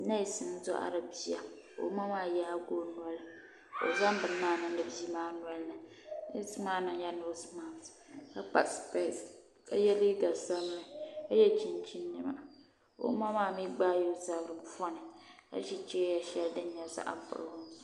nees n doɣari bia ka o ma maa yaagi o noli ka o zaŋdi bini maa niŋdi bia maa nolini neesi maa mii yɛla noos mask ka kpa spees ka yɛ liiga sabinli ka yɛ chinchin niɛma ka o ma maa mii gbaala o zabiri poni ka ʒi chɛya shɛli din nyɛ zaɣ buluu zuɣu